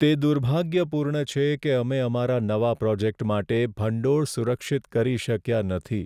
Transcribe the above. તે દુર્ભાગ્યપૂર્ણ છે કે અમે અમારા નવા પ્રોજેક્ટ માટે ભંડોળ સુરક્ષિત કરી શક્યા નથી.